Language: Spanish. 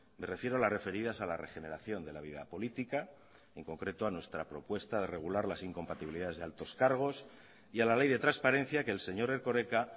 me refiero a las referidas a la regeneración de la vida política en concreto a nuestra propuesta de regular las incompatibilidades de altos cargos y a la ley de transparencia que el señor erkoreka